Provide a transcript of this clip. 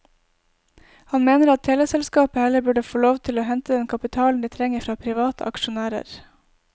Han mener at teleselskapet heller burde få lov til å hente den kapitalen det trenger fra private aksjonærer.